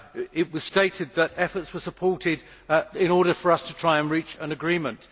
It was stated that efforts were supported in order for us to try and reach an agreement.